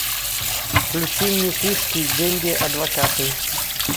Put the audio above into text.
включи мне фишки деньги адвокаты